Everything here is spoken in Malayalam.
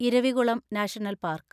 Eravikulam national park